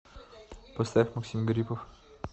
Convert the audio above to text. поставь максим гарипов